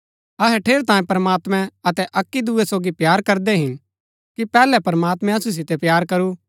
अहै ठेरैतांये प्रमात्मैं अतै अक्की दूये सोगी प्‍यार करदै हिन कि पैहलै प्रमात्मैं असु सितै प्‍यार करू